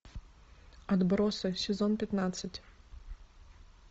отбросы сезон пятнадцать